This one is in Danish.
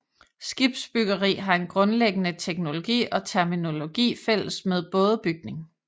Skibsbyggeri har en grundlæggende teknologi og terminologi fælles med bådebygning